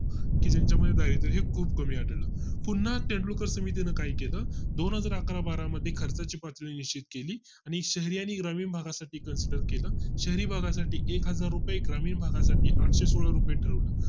की त्यांच्या मध्ये दारिद्र हे खूप कमी असेल पुन्हा तेंडुलकर समितीने काही केलं दोनहजार अकरा बारा मध्ये खर्चाची पातळी निश्चित केली आणि शहरी आणि ग्रामीण भागा साठी consider केले शहरी भागा साठी एकहजार रुपये ग्रामीण भागा साठी आठशे सोळा रुपये ठरवलं